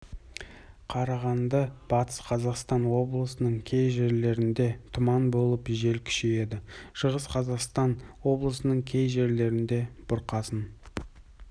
қарағанды батыс қазақстан облыстарының кей жерлерінде тұман болып жел күшейеді шығыс қазақстан облысының кей жерлерінде бұрқасын